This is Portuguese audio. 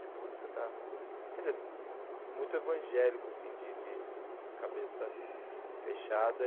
De música está, quer dizer, muito evangélico, assim, de de cabeça fechada.